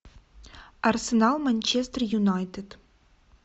арсенал манчестер юнайтед